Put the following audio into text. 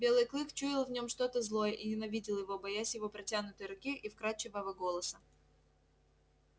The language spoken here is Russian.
белый клык чуял в нем что то злое и ненавидел его боясь его протянутой руки и вкрадчивого голоса